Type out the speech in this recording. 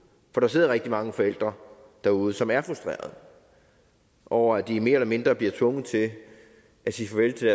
for der sidder rigtig mange forældre derude som er frustreret over at de mere eller mindre bliver tvunget til at sige farvel til